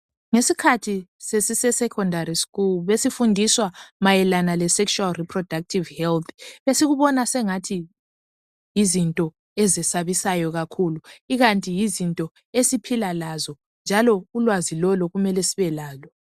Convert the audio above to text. Ngesikhathi sesise"secondary school " besifundiswa mayelana le"sexual reproductive health "esikubona sengathi yizinto ezesabisayo kakhulu ikanti yizinto esiphila lazo, ulwazi lolu kumele sibelalo.